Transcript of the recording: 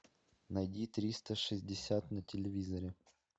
найди триста шестьдесят на телевизоре